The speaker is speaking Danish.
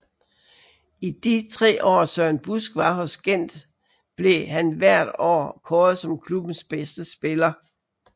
I de tre år Søren Busk var hos Gent blev han hvert år kåret som klubbens bedste spiller